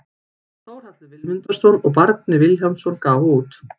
Þórhallur Vilmundarson og Bjarni Vilhjálmsson gáfu út.